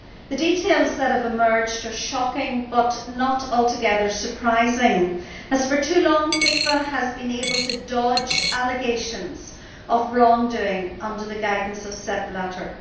The details that have emerged are shocking, but not altogether surprising, as for too long FIFA has been able to dodge allegations of wrongdoing under the guidance of Sepp Blatter.